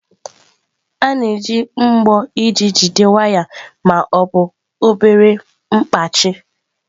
A na-eji mbọ iji jide waya ma ọ bụ obere mkpachị.